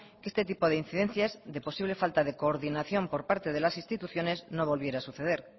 que este tipo de incidencias de posible falta de coordinación por parte de las instituciones no volviera a suceder